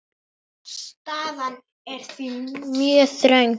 Staðan er því mjög þröng.